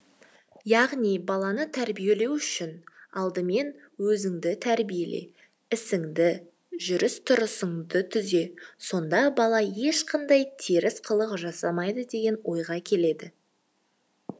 яғни баланы тәрбиелеу үшін алдымен өзіңді тәрбиеле ісіңді жүріс тұрысыңды түзе сонда бала ешқандай теріс қылық жасамайды деген ойға келеді